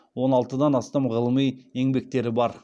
он алтыдан астам ғылыми еңбектері бар